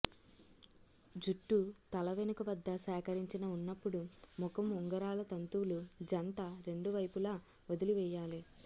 జుట్టు తల వెనుక వద్ద సేకరించిన ఉన్నప్పుడు ముఖం ఉంగరాల తంతువులు జంట రెండు వైపులా వదిలి చేయాలి